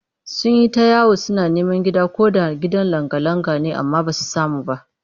Sun yi ta yawo suna neman ko da gidan langa-langa ne amma ba su samu ba